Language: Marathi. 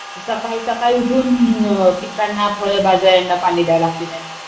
सकाळी सकाळी उठून पिकांना, फळ भाज्यांना पाणी द्यावे लागते त्यांना.